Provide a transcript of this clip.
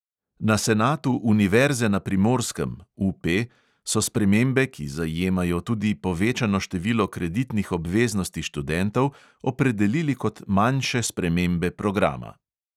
Na senatu univerze na primorskem so spremembe, ki zajemajo tudi povečano število kreditnih obveznosti študentov, opredelili kot manjše spremembe programa.